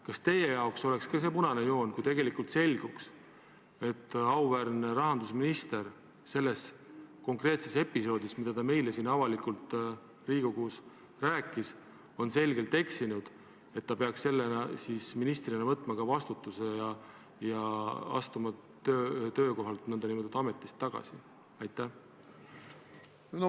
Kas teie jaoks oleks ka see punane joon, kui selguks, et auväärne rahandusminister selles konkreetses episoodis, millest ta meile siin avalikult Riigikogus rääkis, on eksinud, ja kas ta peaks ministrina võtma vastutuse ja astuma töökohalt, nn ametist tagasi?